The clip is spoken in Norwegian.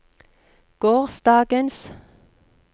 gårsdagens